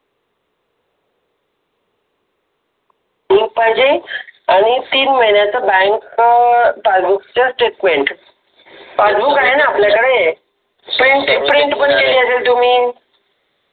आणि तीन महिन्याचं बँक च्या पासबुक चा स्टेटमेंट पासबुक आहे ना आपल्याकडे प्रिंट पण दिली असेल तुम्ही